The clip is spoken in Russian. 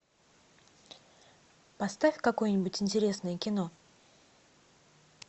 поставь какое нибудь интересное кино